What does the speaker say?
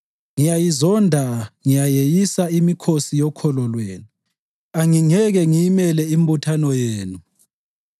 “Ngiyayizonda, ngiyayeyisa imikhosi yokholo lwenu; angingeke ngiyimele imbuthano yenu.